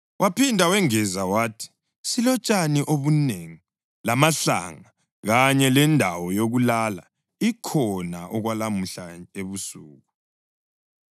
Waphinda wengeza wathi, “Silotshani obunengi lamahlanga, kanye lendawo yokulala ikhona okwalamuhla ebusuku.”